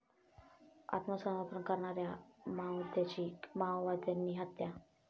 आत्मसमर्पण करणाऱ्या माओवाद्याची माओवाद्यांनी हत्या